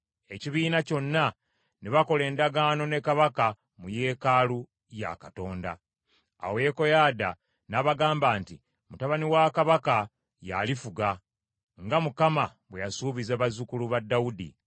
Ekibiina kyonna ne bakola endagaano ne kabaka mu yeekaalu ya Katonda. Awo Yekoyaada n’abagamba nti, “Mutabani wa kabaka y’alifuga, nga Mukama bwe yasuubiza bazzukulu ba Dawudi.